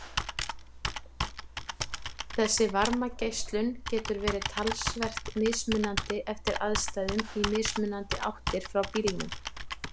Þessi varmageislun getur verið talsvert mismunandi eftir aðstæðum í mismunandi áttir frá bílnum.